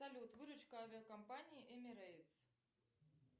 салют выручка авиакомпании эмирейтс